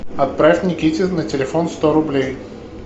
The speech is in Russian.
отправь никите на телефон сто рублей